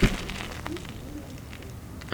найти нолливуд стримс